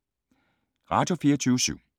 Radio24syv